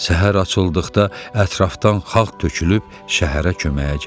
Səhər açıldıqda ətrafdan xalq tökülüb şəhərə köməyə gəldi.